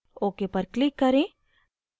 ok पर click करें